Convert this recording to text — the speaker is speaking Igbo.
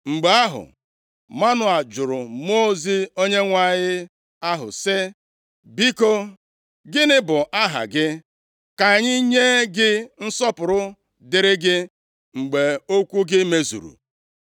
Mgbe ahụ, Manoa jụrụ Mmụọ ozi Onyenwe anyị ahụ, sị, “Biko, gịnị bụ aha gị, ka anyị nye gị nsọpụrụ dịịrị gị mgbe okwu gị mezuru?”